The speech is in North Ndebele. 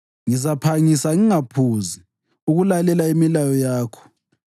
Ngizaphangisa ngingaphuzi ukulalela imilayo yakho.